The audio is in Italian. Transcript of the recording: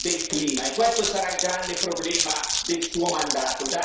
del clima, e questo sarà il grande problema del suo mandato.